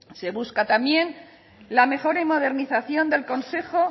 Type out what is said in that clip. se busca también la mejora y modernización del consejo